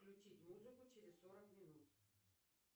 включить музыку через сорок минут